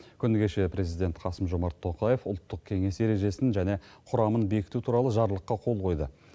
күні кеше президент қасым жомарт тоқаев ұлттық кеңес ережесін және құрамын бекіту туралы жарлыққа қол қойды